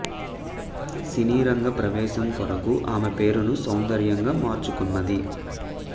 సినీ రంగ ప్రవేశం కొరకు ఆమె పేరును సౌందర్యగా మార్చుకున్నది